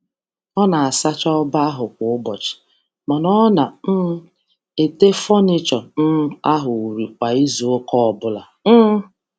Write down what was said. Ọ na-asacha shelf um kwa ụbọchị, um um ma na-emecha furnịtù otu um ugboro n’izu.